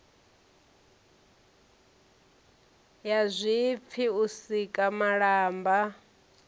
ya zwipfi u sika malamba